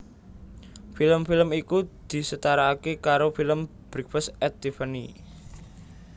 Film film iku disetarake karo film Breakfast at Tiffany